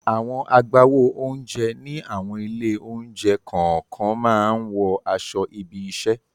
Àwọn agbáwo oúnjẹ ní àwọn ilé-oúnjẹ kọ̀ọ̀kan máa ń wọ aṣọ ibi-iṣẹ́.